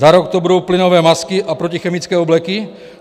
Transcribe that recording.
Za rok to budou plynové masky a protichemické obleky?